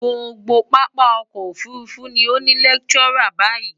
Gbogbo pápá okò òfurufú ni ó ní ilétùura báyií.